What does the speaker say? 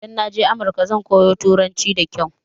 Idan naje America zan koyo turanci da kyau